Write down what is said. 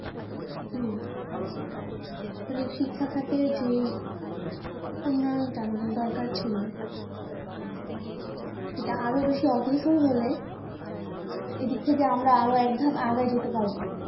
কী? আসলে শিক্ষাখাতে যে, উন্নয়নটা আমাদের দরকার ছিল। এটা আরও বেশি অগ্রসর হলে, এদিক থেকে আমরা আরও একধাপ আগায় যেতে পারব।